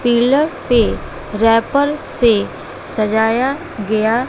pillar पे wrapper से सजाया गया--